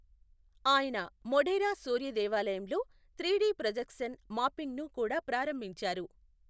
ఆయన మొఢేరా సూర్య దేవాలయంలో త్రీడీ ప్రొజెక్శన్ మాపింగ్ను కూడా ప్రారంభించారు.